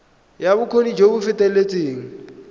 ya bokgoni jo bo feteletseng